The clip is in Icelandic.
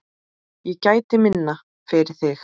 Ég gæti minna, fyrir þig.